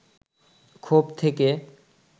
ক্ষোভ থেকে